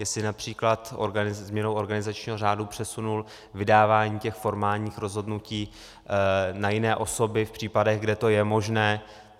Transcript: Jestli například změnou organizačního řádu přesunul vydávání těch formálních rozhodnutí na jiné osoby v případech, kde to je možné.